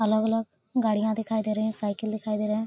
अलग-अलग गाड़ियाँ दिखाई दे रही हैं साइकिल दिखाई दे रहें हैं।